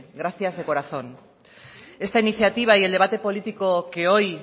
gracias de corazón esta iniciativa y el debate político que hoy